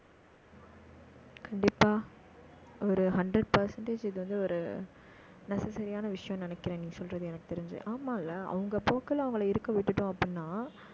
கண்டிப்பா ஒரு hundred percentage இது வந்து ஒரு, necessary யான விஷயம்னு நினைக்கிறேன். நீங்க சொல்றது எனக்கு தெரிஞ்சு. ஆமால்ல அவங்க போக்குல, அவங்களை இருக்க விட்டுட்டோம் அப்படின்னா